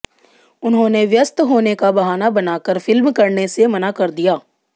उन्होंने व्यस्त होने का बहाना बनाकर फिल्म करने से मना कर दिया